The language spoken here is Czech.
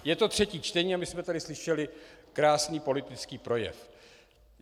Je to třetí čtení a my jsme tady slyšeli krásný politický projev.